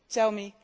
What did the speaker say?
tell me